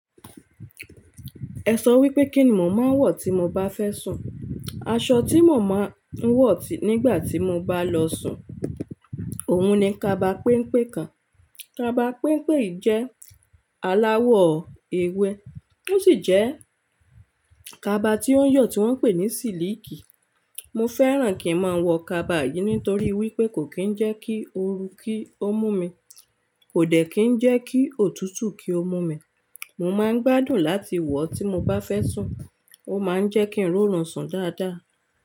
Ẹ sọ wípé kín n mo máa ń wọ̀ tí mo bá fẹ́ sùn. Aṣọ tí mo máa ń wọ̀ nígbà tí mo bá lọ sùn, òun ni kaba péńpé kan. Kaba péńpé i jẹ́ aláwọ̀ ewé, ó sì jẹ́ kaba tí ó ń yọ̀ tí wọ́n ń pè ní sílíkì. Mo fẹ́ràn kí ń máa wọ kaba yìí nítorí wípé kò kín ń jẹ́ kí ooru kí ó mú mi, kò dẹ́ kí ń jẹ́ kí òtútù kí ó mú mi. Mo máa ń gbádùn láti wọ̀ tí mo bá fẹ́ sùn. Ó máa ń jẹ́ kí ń rórún sùn dáadáa.